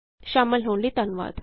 ਸ਼ਾਮਲ ਹੋਣ ਲਈ ਧੰਨਵਾਦ